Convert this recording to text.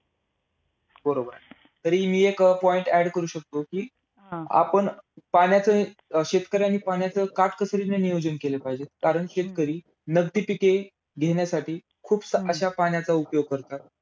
बरोबर आहे. तरी मी एक point add करू शकतो कि, आपण अं पाण्याचं अं शेतकऱ्यांनी पाण्याचे काटकसरीने नियोजन केले पाहिजे. कारण शेतकरी नगदी पिके घेण्यासाठी खूप अशा पाण्याचा उपयोग करतात.